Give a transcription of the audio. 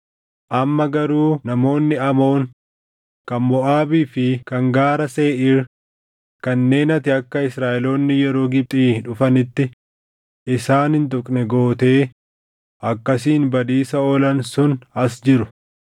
“Amma garuu namoonni Amoon, kan Moʼaabii fi kan Gaara Seeʼiir kanneen ati akka Israaʼeloonni yeroo Gibxii dhufanitti isaan hin tuqne gootee akkasiin badiisa oolan sun as jiru.